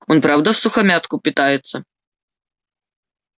он правда всухомятку питается